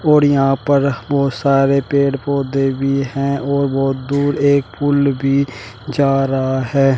और यहां पर बहुत सारे पेड़ पौधे भी हैं और बहुत दूर एक पूल भी जा रहा है।